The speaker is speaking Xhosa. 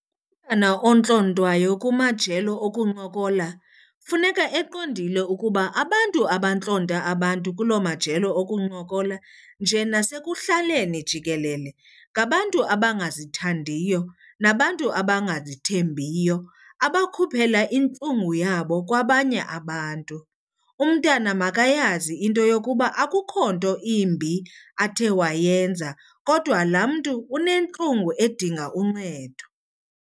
Umntwana ontlontwayo kumajelo okuncokola funeka eqondile ukuba abantu abantlonta abantu kuloo majelo okuncokola nje nasekuhlaleni jikelele ngabantu abangazithandiyo nabantu abangazithembiyo abakhuphela intlungu yabo kwabanye abantu. Umntana makayazi into yokuba akukho nto imbi athe wayenza kodwa laa mntu unentlungu edinga uncedo.